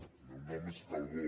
el meu nom és calbó